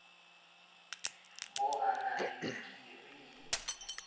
bo a na le dikirii